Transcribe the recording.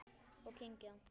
Og kyngja.